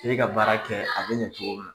K'e ka baara kɛ a bɛ ɲɛ cogo min